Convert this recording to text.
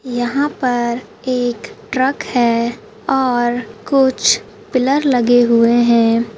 यहां पर एक ट्रक है और कुछ पिलर लगे हुए है।